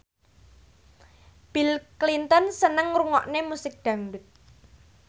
Bill Clinton seneng ngrungokne musik dangdut